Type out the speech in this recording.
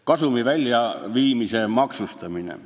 Kasumi väljaviimise maksustamine.